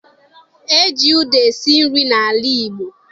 E ji ụda esi nri n'ala Igbo